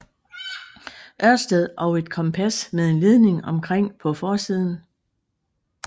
Ørsted og et kompas med en ledning omkring på forsiden